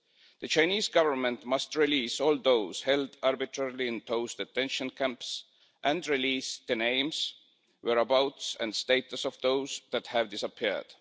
The Chinese Government must release all those held arbitrarily in those detention camps and release the names, whereabouts and status of those that have disappeared.